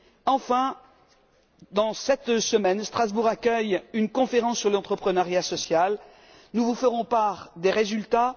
Enfin, durant cette semaine, Strasbourg accueille une conférence sur l'entrepreneuriat social. Nous vous ferons part des résultats.